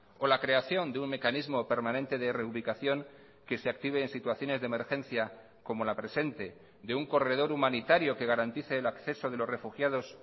o la creación de un mecanismo permanente de reubicación que se active en situaciones de emergencia como la presente de un corredor humanitario que garantice el acceso de los refugiados